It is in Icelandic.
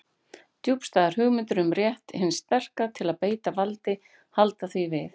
Djúpstæðar hugmyndir um rétt hins sterka til að beita valdi halda því við.